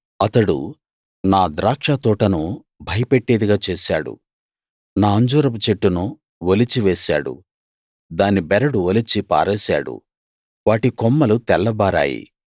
అతడు నా ద్రాక్షతోటను భయపెట్టేదిగా చేశాడు నా అంజూరపు చెట్టును ఒలిచి వేశాడు దాని బెరడు ఒలిచి పారేశాడు వాటి కొమ్మలు తెల్లబారాయి